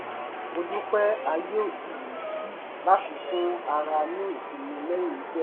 mo dúpẹ́ ààyè òjijì yìí láti fún ara ní ìsinmi lẹ́yìn iṣẹ́